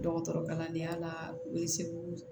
Dɔgɔtɔrɔ kalandenya la u ye segu